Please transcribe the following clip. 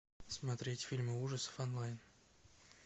смотреть фильмы ужасов онлайн